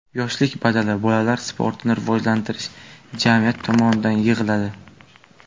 Yoshlik badali Bolalar sportini rivojlantirish jamiyati tomonidan yig‘iladi.